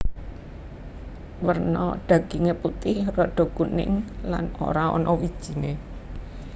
Werna daginge putih rada kuning lan ora ana wijine